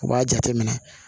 U b'a jateminɛ